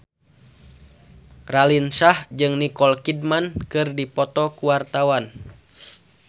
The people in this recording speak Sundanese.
Raline Shah jeung Nicole Kidman keur dipoto ku wartawan